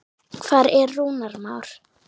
Hvar er Rúnar Már?